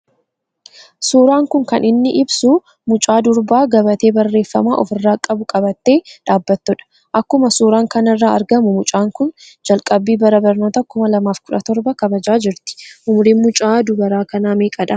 Suuraan kun kan inni ibsu mucaa durbaa gabatee barreeffama ofirraa qabu qabatte dhaabbattu dha. Akkuma suuraan kanarraa argamu mucaan kun jalqabbii bara barnootaa 2017 kabajaa jirti. Umuriin mucaa durbaa kanaa meeqa dha ?